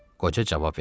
Qoca cavab verdi.